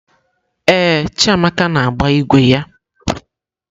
Ee, Chiamaka na-agba ígwè ya.